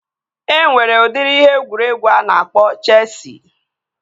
Enwere udiri ihe egwuregwu a na-akpọ Chesi